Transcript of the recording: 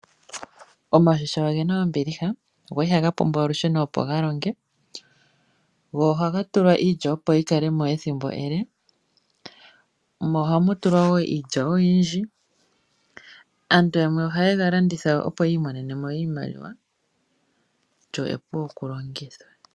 Omashisha oge na ombiliha, go ihaga pumbwa olusheno opo ga longe, go ohaga tulwa iilya opo yi kale mo ethimbo ele, mo ohamu tulwa wo iilya oyindji. Aantu ohaye ga landitha opo yi imonene mo iimaliwa. Eshisha epu okulongitha.